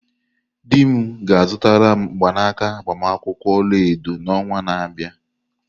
Di m ga-azụtara m mgbanaka agbamakwụkwọ olaedo n'ọnwa na-abịa.